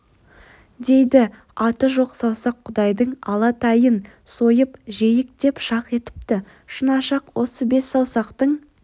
дейді аты жоқ саусақ құдайдың ала тайын сойып жейік деп шақ етіпті шынашақ осы бес саусақтың